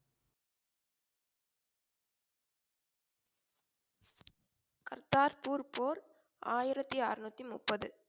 கர்தார்பூர் போர் ஆயிரத்தி அறுநூத்தி முப்பது